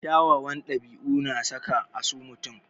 Kyawawan ɗabi'u na saka a so mutum.